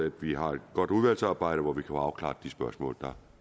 at vi har et godt udvalgsarbejde hvor vi kan få afklaret de spørgsmål der